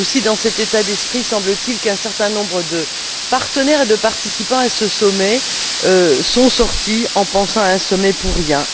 C'est aussi dans cet état d'esprit, semble t il, qu'un certain nombre de partenaires et de participants à ce sommet sont sortis, pensant que ce sommet n'avait servi à rien.